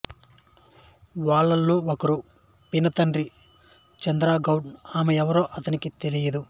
వాళ్ళ్లలో ఒకరు పినతండ్రి చంద్రగౌడ ఆమె ఎవరో అతనికి తెలియలేదు